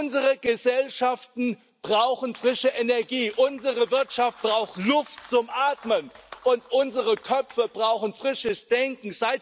Unsere Gesellschaften brauchen frische Energie, unsere Wirtschaft braucht Luft zum Atmen, und unsere Köpfe brauchen frisches Denken.